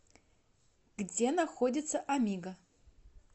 где находится амиго